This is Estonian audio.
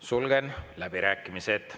Sulgen läbirääkimised.